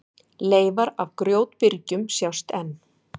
Leifar af grjótbyrgjum sjást enn.